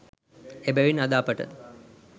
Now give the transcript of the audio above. එබැවින් අද අපට